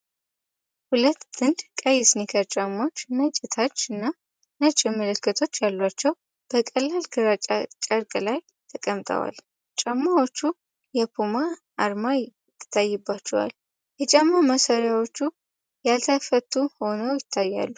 ሁለት ጥንድ ቀይ ስኒከር ጫማዎች፣ ነጭ ታች እና ነጭ ምልክቶች ያሏቸው፣ በቀላል ግራጫ ጨርቅ ላይ ተቀምጠዋል። ጫማዎቹ የፑማ አርማ ይታይባቸዋል፤ የጫማ ማሰሪያዎቹ ያልተፈቱ ሆነው ይታያሉ።